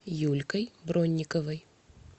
юлькой бронниковой